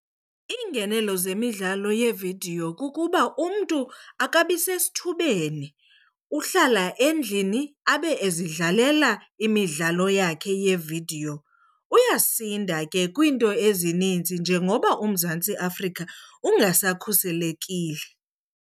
Iingenelo zemidlalo yevidiyo kukuba umntu akabi sesithubeni, uhlala endlini abe ezidlalela imidlalo yakhe yevidiyo. Uyasinda ke kwiinto ezininzi njengoba uMzantsi Afrika ungasakhuselekile.